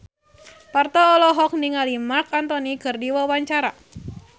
Parto olohok ningali Marc Anthony keur diwawancara